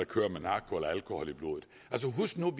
køre med narko eller alkohol i blodet altså husk nu at